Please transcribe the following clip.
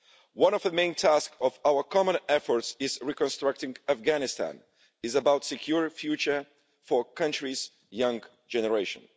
One of the main tasks of our common efforts in reconstructing Afghanistan is about a secure future for the country's young generation.